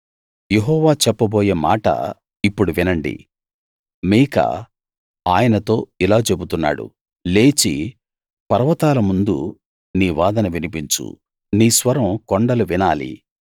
యెహోవా చెప్పబోయే మాట ఇప్పుడు వినండి మీకా ఆయనతో ఇలా చెబుతున్నాడు లేచి పర్వతాల ముందు నీ వాదన వినిపించు నీ స్వరం కొండలు వినాలి